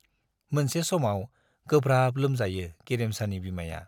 मोनसे समाव गोब्राब लोमजायो गेरेमसानि बिमाया।